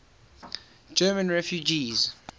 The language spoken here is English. german refugees